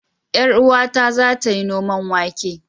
Yar uwata za ta yi noman wake.